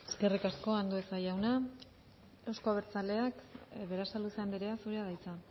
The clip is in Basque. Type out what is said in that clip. eskerrik asko eskerrik asko andueza jauna euzko abertzaleak berasaluze anderea zurea da hitza